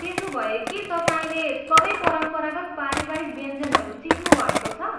त्यसोभए के तपाईँले सबै परम्परागत पारिवारिक व्यञ्जनहरू सिक्नुभएको छ?